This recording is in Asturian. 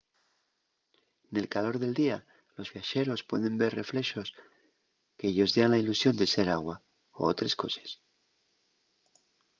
nel calor del día los viaxeros pueden ver reflexos que-yos dean la ilusión de ser agua o otres coses